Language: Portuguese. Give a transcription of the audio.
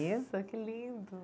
Que lindo!